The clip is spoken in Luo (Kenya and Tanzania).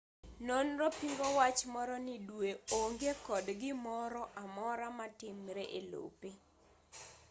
nonronii pingo wach moro ni dwe onge kod gimoroamora matimre elope